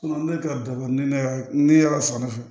ne ka dabɔ ne y'a ne y'a san ne fɛ